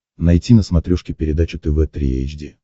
найти на смотрешке передачу тв три эйч ди